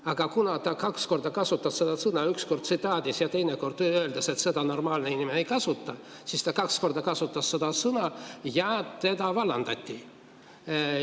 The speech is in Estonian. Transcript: Aga kuna ta kaks korda kasutas seda sõna, üks kord tsitaadis ja teine kord öeldes, et seda normaalne inimene ei kasuta, siis ta kaks korda kasutas seda sõna ja ta vallandati.